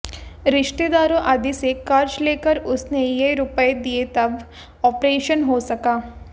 रिश्तेदारों आदि से कर्ज लेकर उसने ये रुपए दिए तब ऑपरेशन हो सका